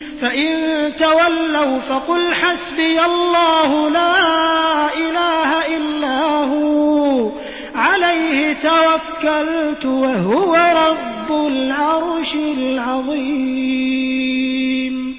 فَإِن تَوَلَّوْا فَقُلْ حَسْبِيَ اللَّهُ لَا إِلَٰهَ إِلَّا هُوَ ۖ عَلَيْهِ تَوَكَّلْتُ ۖ وَهُوَ رَبُّ الْعَرْشِ الْعَظِيمِ